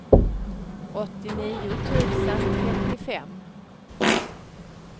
åttionio tusen trettiofem